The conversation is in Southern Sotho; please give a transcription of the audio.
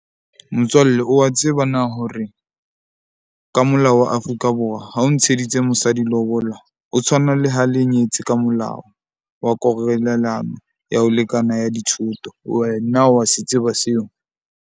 Motswalle o wa tseba na hore ka molao wa Afrika Borwa ha o ntsheditse mosadi lobola, ho tshwana le ha le nyetse ka molao wa ya ho lekana ya dithoto. Wena wa se tseba seo?